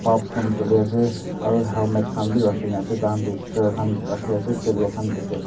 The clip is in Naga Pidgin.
bulbs khan chuliase aro helmet khan bi rakhikaena ase tahan toh chair khan rakhi ase table khan dikhiase.